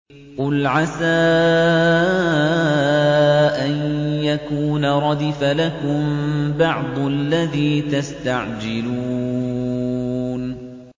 قُلْ عَسَىٰ أَن يَكُونَ رَدِفَ لَكُم بَعْضُ الَّذِي تَسْتَعْجِلُونَ